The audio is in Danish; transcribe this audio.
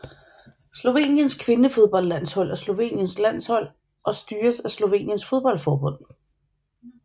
Sloveniens kvindefodboldlandshold er Sloveniens landshold og styres af Sloveniens fodboldforbund